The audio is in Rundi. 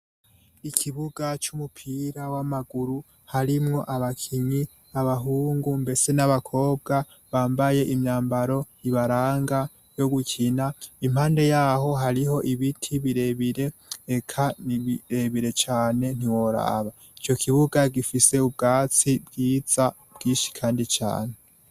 ikibuga c'umupira w'amaguru harimwo abakinyi abahungu mbese n'abakobwa bambaye imyambaro ibaranga yo gukina. Impande yaho hariho ibiti birebire eka n'ibirebire cane ntiworaba. Ico kibuga gifise ubwatsi bwiza bwinshi kandi cane.